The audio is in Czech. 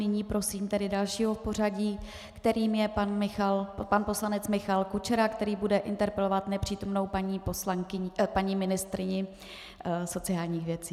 Nyní prosím tedy dalšího v pořadí, kterým je pan poslanec Michal Kučera, který bude interpelovat nepřítomnou paní ministryni sociálních věcí.